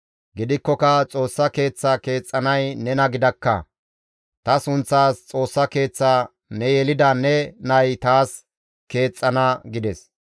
Gidikkoka Xoossa Keeththaa keexxanay nena gidakka; ta sunththaas Xoossa Keeththaa ne yelida ne nay taas keexxana› gides.